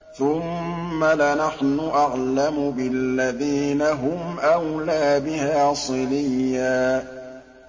ثُمَّ لَنَحْنُ أَعْلَمُ بِالَّذِينَ هُمْ أَوْلَىٰ بِهَا صِلِيًّا